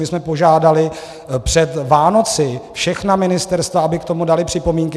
My jsme požádali před Vánoci všechna ministerstva, aby k tomu dala připomínky.